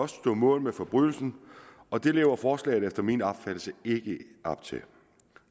stå mål med forbrydelsen og det lever forslaget efter min opfattelse ikke op til